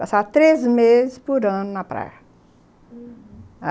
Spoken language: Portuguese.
Passava três meses por ano na praia, aham.